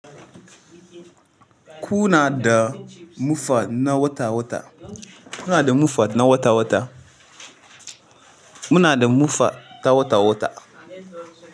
Ku na da mufa na wata wata. Kuna da mufa na wata wata muna da mufa na wata wata.